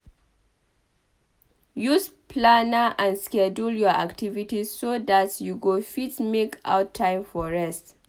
Use planner and schedule your activities so dat you go fit make out time for rest